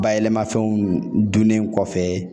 Bayɛlɛmafɛnw donnen kɔfɛ